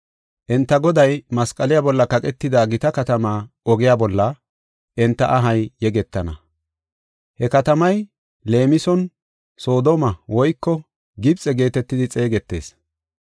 Enta Goday masqaliya bolla kaqetida gita katamaa ogiya bolla enta ahay yegetana. He katamay leemison Soodome woyko Gibxe geetetidi xeegetees.